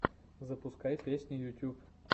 запускай песни ютюб